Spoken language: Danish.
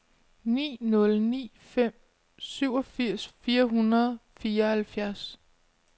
ni nul ni fem syvogfirs fire hundrede og fireoghalvfjerds